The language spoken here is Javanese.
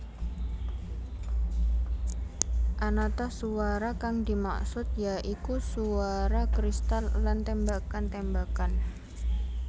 Anata suwara kang dimaksud ya iku suwara kristal lan tembakan tembakan